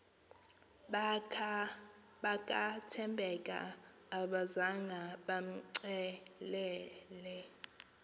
bakathembeka abazanga bamcelele